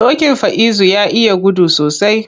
Dokin Faizu ya iya gudu sosai.